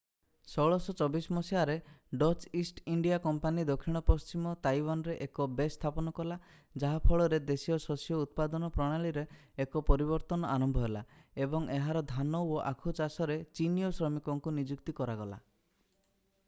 1624 ମସିହାରେ Dutch east India company ଦକ୍ଷିଣ-ପଶ୍ଚିମ ତାଇୱାନରେ ଏକ ବେସ୍ ସ୍ଥାପନ କଲା ଯାହା ଫଳରେ ଦେଶୀୟ ଶସ୍ୟ ଉତ୍ପାଦନ ପ୍ରଣାଳୀରେ ଏକ ପରିବର୍ତ୍ତନ ଆରମ୍ଭ ହେଲା ଏବଂ ଏହାର ଧାନ ଓ ଆଖୁ ଚାଷରେ ଚିନୀୟ ଶ୍ରମିକଙ୍କୁ ନିଯୁକ୍ତି ଦିଆଗଲା